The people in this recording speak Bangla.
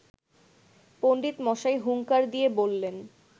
পণ্ডিতমশাই হুঙ্কার দিয়ে বললেন